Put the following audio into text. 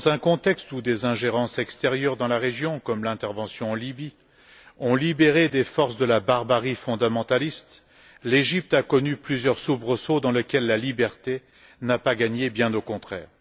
Dans un contexte où des ingérences extérieures dans la région, comme l'intervention en Libye, ont libéré des forces de la barbarie fondamentaliste, l'Égypte a connu plusieurs soubresauts dans lesquels la liberté n'a pas gagné, bien au contraire.